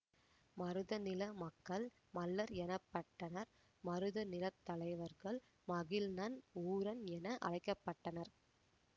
மருதநில மக்கள் மள்ளர் எனப்பட்டனர் மருத நிலத்தலைவர்கள் மகிழ்நன் ஊரன் என அழைக்க பட்டனர்